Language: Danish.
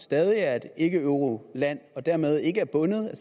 stadig er et ikkeeuroland og dermed ikke er bundet af